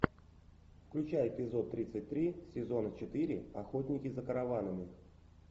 включай эпизод тридцать три сезона четыре охотники за караванами